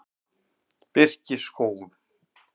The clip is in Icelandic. Birkiskógum